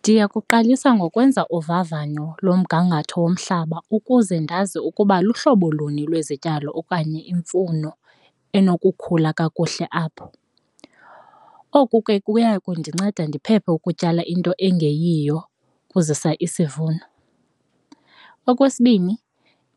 Ndiya kuqalisa ngokwenza uvavanyo lomgangatho womhlaba ukuze ndazi ukuba luhlobo luni lwezityalo okanye imifuno enokukhula kakuhle apho, oku ke kuya kundinceda ndiphephe ukutyala into engeyiyo kuzisa isivuno. Okwesibini